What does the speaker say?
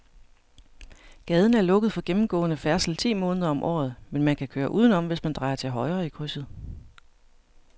Gaden er lukket for gennemgående færdsel ti måneder om året, men man kan køre udenom, hvis man drejer til højre i krydset.